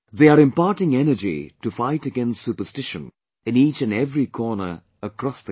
They are imparting energy to fight against superstition in each and every corner across the country